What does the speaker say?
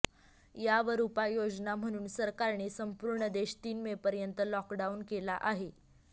यावर उपाययोजना म्हणून सरकारने संपूर्ण देश तीन मेपर्यंत लॉकडाऊन केला आहे